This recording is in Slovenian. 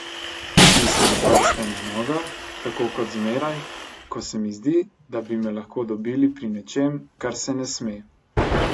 Stisnem prste na nogah, tako ko zmeraj, ko se mi zdi, da bi me lahko dobili pri nečem, kar se ne sme.